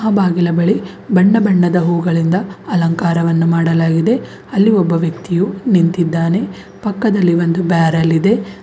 ಆ ಬಾಗಿಲ ಬಳಿ ಬಣ್ಣ ಬಣ್ಣದ ಹೂಗಳಿಂದ ಅಲಂಕಾರವನು ಮಾಡಲಾಗಿದೆ ಅಲ್ಲಿ ಒಬ್ಬ ವ್ಯಕ್ತಿಯು ನಿಂತಿದ್ದಾನೆ ಪಕ್ಕದಲ್ಲಿ ಒಂದು ಬ್ಯಾರಲ್ ಇದೆ.